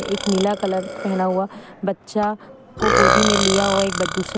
एक नीला कलर पहना हुआ बच्चा को गोदी में लिया हुआ एक--